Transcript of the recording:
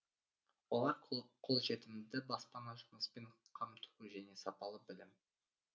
олар қолжетімді баспана жұмыспен қамту және сапалы білім